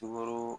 Sukoro